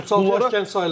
O yaşda gənc sayılır?